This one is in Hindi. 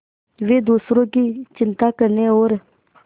वे दूसरों की चिंता करने और